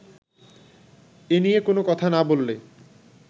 এনিয়ে কোনো কথা না বললে